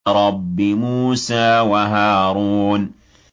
رَبِّ مُوسَىٰ وَهَارُونَ